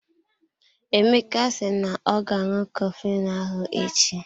Emeka si na ọ ga aṅụ coflin ahụ echi.